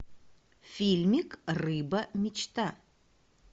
фильмик рыба мечта